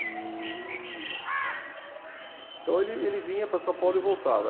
E então ele ele vinha para São Paulo e voltava.